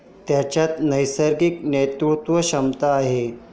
त्याच्यात नैसर्गिक नेतृत्वक्षमता आहे.